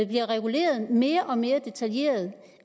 bliver reguleret mere og mere detaljeret